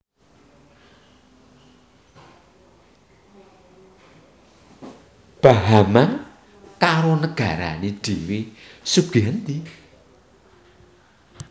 Bahama karo negarane dhewe sugih endi